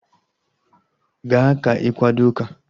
Gaa ka ị kwado ụka!